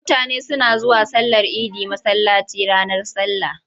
Mutane suna zuwa sallar idi masallaci ranar sallah.